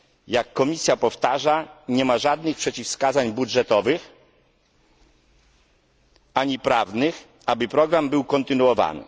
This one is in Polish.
Jak Komisja powtarza, nie ma żadnych przeciwwskazań budżetowych ani prawnych, aby program był kontynuowany.